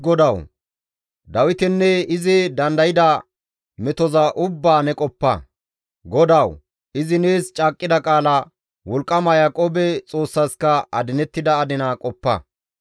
GODAWU! Izi nees caaqqida qaala, wolqqama Yaaqoobe Xoossaska adinettida adinaa qoppa.